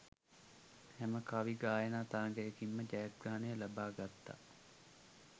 හැම කවි ගායනා තරගයකින්ම ජයග්‍රහණය ලබා ගත්තා